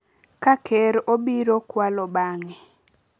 ka Ker obiro kwalo bang’e,